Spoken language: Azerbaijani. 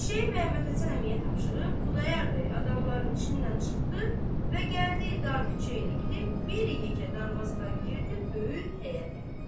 Eşəyi Məhəmməd Həsən Əmiyə tapşırıb Xudayar bəy adamların içindən çıxdı və gəldi dar küçə ilə gedib bir yekə darvazadan girdi böyük həyətə.